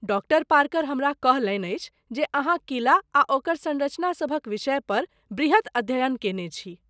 Doctor Parker हमरा कहलनि अछि जे अहाँ किला आ ओकर संरचना सभक विषयपर बृहत अध्ययन केने छी।